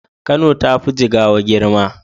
Kano tafi jigawa girma